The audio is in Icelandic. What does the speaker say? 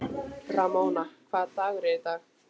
Ramóna, hvaða dagur er í dag?